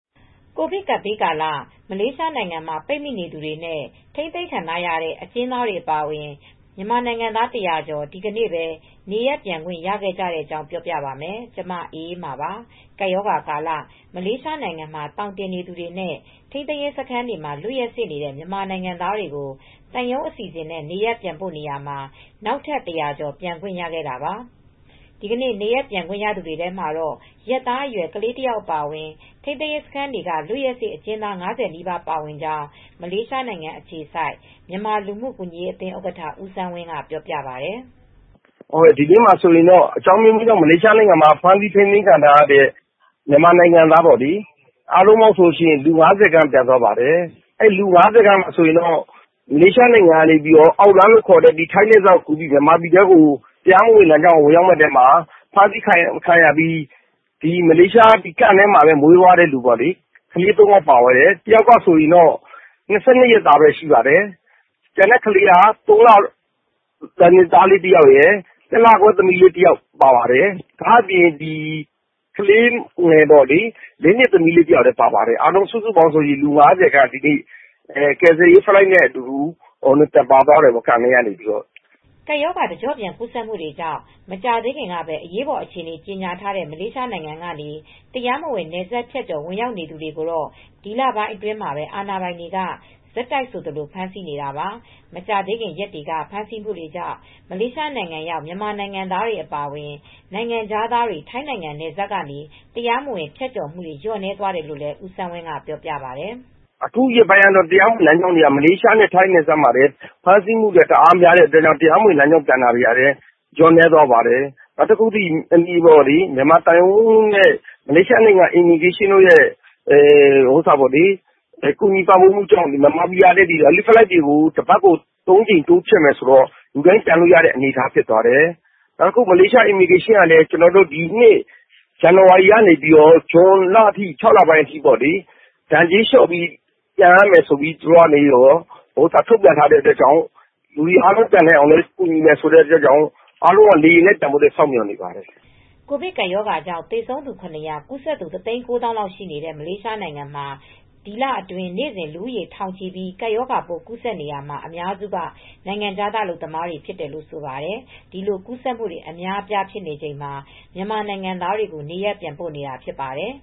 ကိုဗစ်ကပ်ဘေးကာလ မလေးရှားနိုင်ငံမှာ ပိတ်မိနေသူတွေနဲ့ ထိန်းသိမ်းခံထားရတဲ့ အကျဉ်းသားတွေ အပါအဝင် မြန်မာနိုင်ငံသား ၁၀၀ ကျော် ဒီကနေ့ပဲ နေရပ်ပြန်ခွင့်ရခဲ့ကြတဲ့အကြောင်းကို ဗွီအိုအေမြန်မာပိုင်း သတင်းထောက် မအေးအေးမာက ပြောပြပါမယ်။ ကပ်ရောဂါကာလ မလေးရှားနိုင်ငံမှာ သောင်တင်နေသူတွေနဲ့ ထိန်းသိမ်းရေးစခန်းတွေမှာ လွတ်ရက်စေ့နေတဲ့ မြန်မာနိုင်ငံသားတွေကို သံရုံးအစီအစဉ်နဲ့ နေရပ်ပြန်ပို့နေရာမှာ နောက်ထက် ၁၀၀ ကျော် ပြန်ခွင့်ရခဲ့ကြတာပါ။ ဒီကနေ့ နေရပ်ပြန်ခွင့်ရသူတွေထဲမှာတော့ ရက်သားအရွယ် ကလေးငယ်တယောက်အပါအဝင် ထိန်းသိမ်းရေးစခန်းတွေက လွတ်ရက်စေ့အကျဉ်းသား ၅၀ နီးပါးပါဝင်ကြောင်း မလေးရှားနိုင်ငံအခြေစိုက် မြန်မာလူမှုကူညီရေးအသင်းဥက္ကဋ္ဌ ဦးစန်းဝင်းက ပြောပါတယ်။ “ဒီနေ့မှာဆိုရင်တော့ အကြောင်းအမျိုးမျိုးကြောင့် မလေးရှားနိုင်ငံမှာ ဖမ်းဆီးထိန်းသိမ်းခံထားရတဲ့ လူ ၅၀ လောက်ပြန်သွားပါတယ်။ လူ ၅၀ ထဲမှာ မလေးရှားနိုင်ငံကနေ အောက်လမ်းလို့ ခေါ်တဲ့ တရားမဝင်လမ်းကနေ ပြန်ဖို့လုပ်ပြီး ဖမ်းဆီးခံရတာ ထိန်းသိမ်းရေးစခန်းထဲမှာ မီးဖွားသွားတဲ့အမျိုးသမီးတွေ ပါပါတယ်။ ကလေးတယောက်က ၂၂ ရက်သားပဲရှိသေးတယ်။ ကျန်တာက ၃ နှစ်သားလေး တဦး၊ တလခွဲခန့် သမီးလေးတဦး၊ နောက် ၄ နှစ်သမီးလေး တဦးလည်း ပါပါတယ်။ အားလုံး ဒီနေ့ ကယ်ဆယ်ရေးလေယာဉ်နဲ့ ပြန်သွားကြတာပါ။” ကပ်ရောဂါ တကျော့ပြန် ကူးစက်မှုတွေကြောင့် မကြာသေးခင်ကပဲ အရေးပေါ် အခြေအနေကြေညာထားတဲ့ မလေးရှားနိုင်ငံကနေ တရားမဝင် နယ်စပ်ဖြတ်ကျော် ဝင်ထွက်နေသူတွေကိုတော့ ဒီလထဲမှာပဲ အာဏာပိုင်တွေ ဆက်တိုက်ဆိုသလို ဖမ်းဆီးနေတာပါ။ မကြာသေးခင် ရက်တွေက ဖမ်းဆီးမှုတွေကြောင့် မလေးရှားနိုင်ငံရောက် မြန်မာနိုင်ငံသားတွေအပါအဝင် နိုင်ငံခြားသားတွေ ထိုင်းနိုင်ငံ နယ်စပ်ကနေ တရားမဝင် ဖြတ်ကျော်မှုတွေ လျော့နည်းသွားတယ်လို့လည်း ဦးစန်းဝင်းကပြောပါတယ်။ “အခုရက်ပိုင်းကတော့ မလေးရှားနယ်စပ်နဲ့ ထိုင်းနယ်စပ်မှာ တရားမဝင်လမ်းကြောင်းတွေက ဖမ်းဆီးမှုတွေ များနေတာကြောင့် တရားမဝင်ပြန်တဲ့သူတွေ လျော့နည်းသွားပါတယ်။ မလေးရှားက မြန်မာသံရုံးနဲ့ မလေးရှားလဝကတို့ ကူညီပံ့ပိုးမှုနဲ့ မြန်မာပြည်က လာတဲ့ကယ်ဆယ်ရေးလေယာဉ်တွေက တပတ်ကို ၃ ကြိမ်တိုးချဲ့ ပျံသန်းပေးမယ်လို့ လူတိုင်းပြန်လို့ရတဲ့ အနေအထားဖြစ်သွားတယ်။ နောက်တခုက မလေးရှားလဝကက ဒီနှစ် ဇွန်လအထိ ဒဏ်ကြေး လျော့ပေ့ါပေးမယ်ဆိုတာရယ်၊ အားလုံးပြန်နိုင်အောင် လုပ်ပေးမယ်ဆိုတာကြောင့် လေယာဉ်နဲ့ နေရပ်ပြန်နိုင်ရေးကို အားလုံးက စောင့်နေဝကပါတယ်။” ကိုဗစ်ကပ်ရောဂါကြောင့် သေဆုံးသူ ၇၀၀၊ ကူးစက်သူ ၁၉၀,၀၀၀ လောက်ရှိနေတဲ့ မလေးရှားနိုင်ငံမှာ ဒီလအတွင်းနေ့စဉ် လူဦးရေထောင်ချီပြီး ကပ်ရောဂါပိုး ကူးစက်နေရာမှာ အများစုက နိုင်ငံခြားသား အလုပ်သမားတွေ ဖြစ်တယ်လို့ ဆိုပါတယ်။ ဒီလိုကူးစက်မှုတွေ အများအပြားဖြစ်နေချိန်မှာ မြန်မာနိုင်ငံသားတွေကို နေရပ်ပြန်ပို့နေတာဖြစ်ပါတယ်